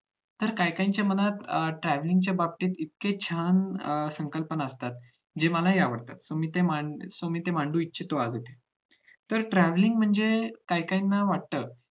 तर काही काहींच्या मनात travelling च्या बाबतीत तितके छान अं संकल्पना असतात ते मलाही आवडतात ते मी इथे ते मी इथे मांडू इच्छितो आहे तर travelling म्हणजे काही काहींना वाटत